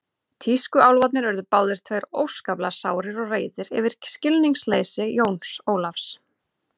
Tískuálfarnir urðu báðir tveir óskaplega sárir og reiðir yfir skilningsleysi Jóns Ólafs.